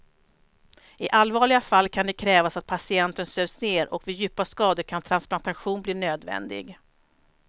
I allvarliga fall kan det krävas att patienten sövs ner och vid djupa skador kan transplantation bli nödvändig.